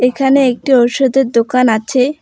এখানে একটি ঔষধের দোকান আছে।